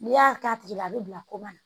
N'i y'a k'a tigi la a bɛ bila koma na